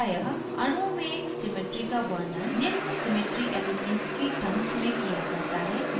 प्रायः अणुओं में symmetry का वर्णन निम्न symmetry elements की terms में किया जाता है जैसे